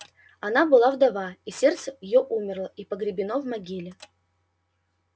она была вдова и сердце её умерло и погребено в могиле